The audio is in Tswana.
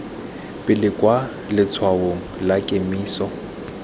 pele kwa letshwaong la kemiso